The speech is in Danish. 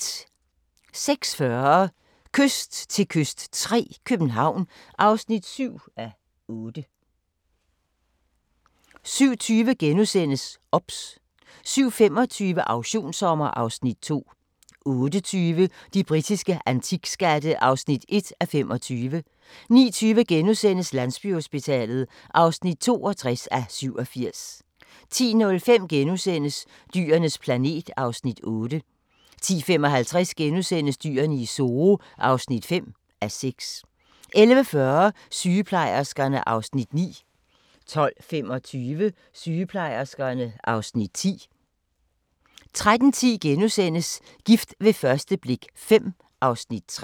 06:40: Kyst til kyst III – København (7:8) 07:20: OBS * 07:25: Auktionssommer (Afs. 2) 08:20: De britiske antikskatte (1:25) 09:20: Landsbyhospitalet (62:87)* 10:05: Dyrenes planet (Afs. 8)* 10:55: Dyrene i Zoo (5:6)* 11:40: Sygeplejerskerne (Afs. 9) 12:25: Sygeplejerskerne (Afs. 10) 13:10: Gift ved første blik V (Afs. 3)*